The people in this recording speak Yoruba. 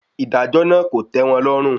Ìdájọ náà kò tẹ́ wọn lọ́rùn.